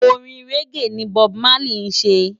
Órin régé ni Bòb Málí sé